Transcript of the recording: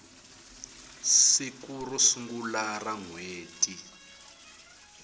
siku ro sungula ra nhweti